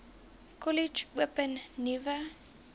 kollege open nuwe